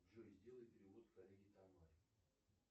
джой сделай перевод коллеге тамаре